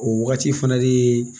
O wagati fana de ye